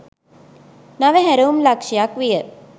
නව හැරවුම් ලක්ෂ්‍යයක් විය.